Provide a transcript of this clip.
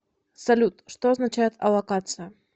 салют что означает аллокация